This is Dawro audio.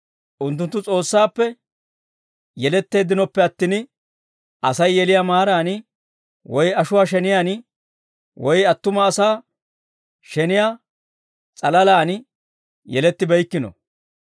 Unttunttu S'oossaappe yeletteeddinoppe attin, Asay yeliyaa maaraan woy ashuwaa sheniyaan woy attuma asaa sheniyaa s'alalaan yelettibeykkino.